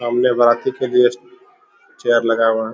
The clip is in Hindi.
सामने बराती के लिए चेयर लगाया हुआ है।